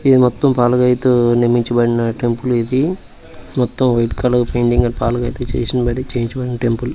ఇది మొత్తం పాలరాయితో నిర్మించబడిన టెంపుల్ ఇది మొత్తం వైట్ కలర్ పెయింటింగ్ పాలరాయి తో చేయించబడిన టెంపుల్ .